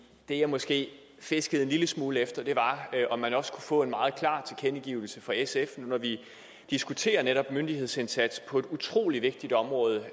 det jeg måske fiskede en lille smule efter var om man også kunne få en meget klar tilkendegivelse fra sf nu når vi diskuterer netop myndighedsindsats på et utrolig vigtigt område